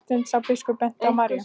Marteinn sá að biskup benti á Maríu.